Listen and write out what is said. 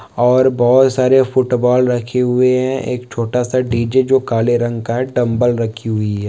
और बहुत सारे फुट बॉल रखे हुए हैं एक छोटा सा डी.जे. जो काले रंग का है डंबल रखी हुई है।